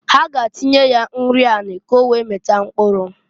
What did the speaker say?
Ha ga-atinye ya nri anị k'owee mịta mkpụrụ.